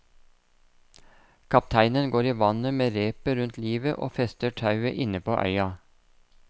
Kapteinen går i vannet med repet rundt livet og fester tauet inne på øya.